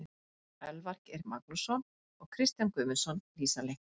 Elvar Geir Magnússon og Kristján Guðmundsson lýsa leiknum.